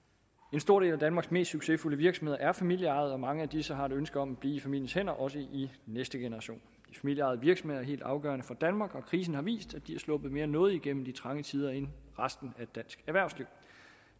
en stor del af danmarks mest succesfulde virksomheder er familieejede og mange af disse har et ønske om bliver i familiens hænder også i næste generation de familieejede virksomheder er helt afgørende for danmark og krisen har vist at de er sluppet mere nådigt igennem de trange tider end resten af dansk erhvervsliv